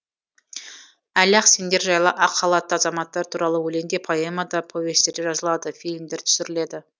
әлі ақ сендер жайлы ақ халатты азаматтар туралы өлең де поэма да повестер де жазылады фильмдер түсіріледі